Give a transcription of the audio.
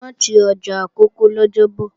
Wọn ò ti ọjà Àkókó lọ́jọ́bọ̀